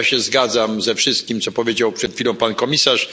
Ja się zgadzam ze wszystkim, co powiedział przed chwilą pan komisarz.